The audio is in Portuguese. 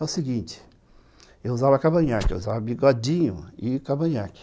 É o seguinte, eu usava cavanhaque, eu usava bigodinho e cavanhaque.